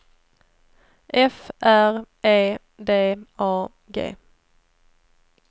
F R E D A G